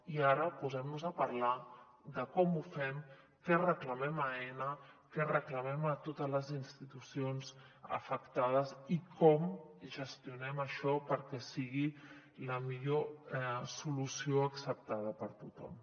i ara posem·nos a parlar de com ho fem què reclamem a aena què reclamem a totes les institucions afectades i com gestionem això perquè sigui la millor solució acceptada per tothom